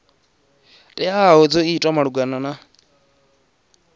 teaho dzo itwa malugana na